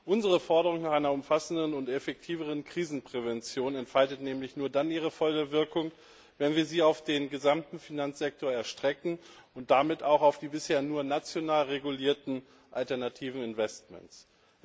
Unsere Forderung nach einer umfassenden und effektiveren Krisenprävention entfaltet nämlich nur dann ihre volle Wirkung, wenn wir sie auf den gesamten Finanzsektor erstrecken und damit auch auf die bisher nur national regulierten alternativen Investmentfonds.